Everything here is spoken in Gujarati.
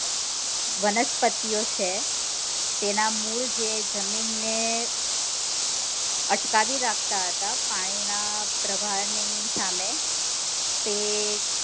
વનસ્પતિઓ છે તેના મૂળ જે જમીન ને અટકાવી રાખતા હતા પાણી ના પ્રવાહ ની સામે